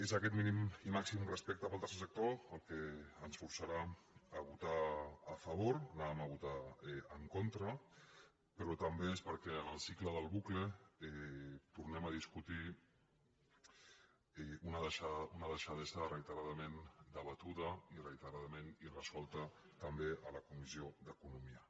és aquest mínim i màxim respecte pel tercer sector el que ens forçarà a votar a favor anàvem a votar·hi en contra però també és perquè en el cicle del bucle tor·nem a discutir una deixadesa reiteradament debatuda i reiteradament irresolta també a la comissió d’eco·nomia